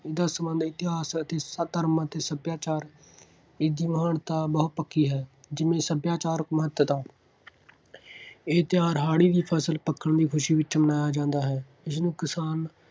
ਇਸ ਦਾ ਸੰਬੰਧ ਇਤਿਹਾਸ ਅਤੇ ਸਭ ਧਰਮਾਂ ਅਤੇ ਸੱਭਿਆਚਾਰ, ਇਸਦੀ ਮਹਾਨਤਾ ਬਹੁਤ ਪੱਕੀ ਹੈ, ਜਿਵੇਂ ਸੱਭਿਆਚਾਰਕ ਮਹੱਤਤਾ। ਇਹ ਤਿਉਹਾਰ ਹਾੜ੍ਹੀ ਦੀ ਫਸਲ ਪੱਕਣ ਦੀ ਖੁਸ਼ੀ ਵਿੱਚ ਮਨਾਇਆ ਜਾਂਦਾ ਹੈ। ਇਸਨੂੰ ਕਿਸਾਨ